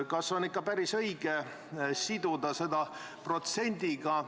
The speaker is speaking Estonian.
Kas on ikka päris õige siduda see protsendiga?